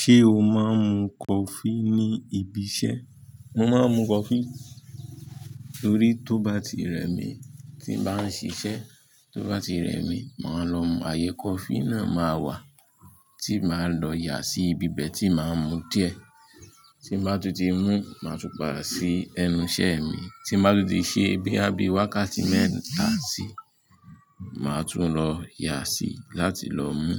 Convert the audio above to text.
Ṣé o máa ń mu coffee ní ibi iṣẹ́? Mo máa ń mu coffee torí tó bá ti rẹ mi tí ń bá ń ṣiṣẹ́, tó bá ti rẹ mi, màá lọ mu, ààyè coffee náà máa wà tí màá lọ yà sí ibi bẹ́ẹ̀ tí màá ń mu díẹ̀. Tí màá tú ti mú, màá tún padà sí ẹnu iṣẹ́ mi, tí màá tú di ṣe bóyá bíi wákàtí mẹ́ta sí, màá tún lọ yà sí láti lọ mú.